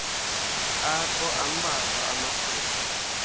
ukho ambalwa amathuba